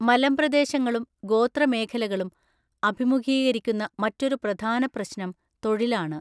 മലമ്പ്രദേശങ്ങളും ഗോത്ര മേഖലകളും അഭിമുഖീകരിക്കുന്ന മറ്റൊരു പ്രധാന പ്രശ്നം തൊഴിലാണ്.